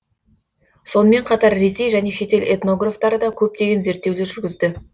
сонымен қатар ресей және шетел этнографтары да көптеген зерттеулер жүргізді